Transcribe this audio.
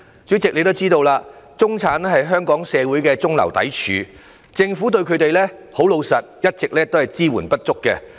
主席，你也知道中產是香港社會的中流砥柱，老實說，政府一直對他們的支援不足。